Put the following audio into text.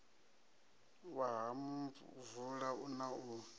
wa ha muvula na u